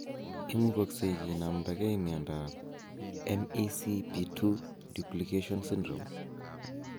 Imugoksei kinamdage miondap MECP2 duplication syndrome?